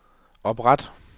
opret